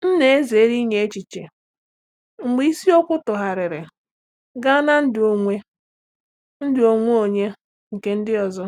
M na-ezere inye echiche mgbe isiokwu tụgharịrị gaa na ndụ onwe ndụ onwe onye nke ndị ọzọ.